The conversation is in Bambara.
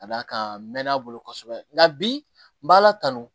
Ka d'a kan n mɛ' a bolo kosɛbɛ nka bi n b'a la tanu